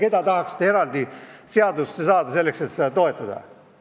Keda tahaksite eraldi seaduses nimetada, et eelnõu toetada?